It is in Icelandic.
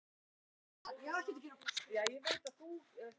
Svo hætti hann að vinna og seldi útgerðina þegar hann varð sextugur.